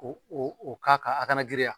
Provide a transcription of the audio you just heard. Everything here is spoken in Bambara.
O o o k'a kan a kana girinyan